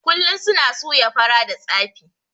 Kullun suna suya fara da tsafi